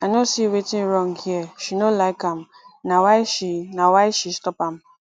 i no see wetin wrong here she no like am na why she na why she stop am